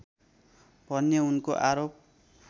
भन्ने उनको आरोप